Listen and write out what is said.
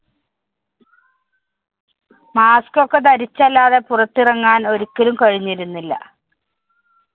mask ഒക്കെ ധരിച്ചല്ലാതെ പുറത്തിറങ്ങാന്‍ ഒരിക്കലും കഴിഞ്ഞിരുന്നില്ല.